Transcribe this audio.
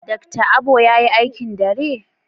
Dr. Abo yayi aikin dare?